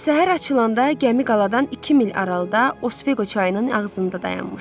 Səhər açılanda gəmi qaladan iki mil aralıda Osveqo çayının ağzında dayanmışdı.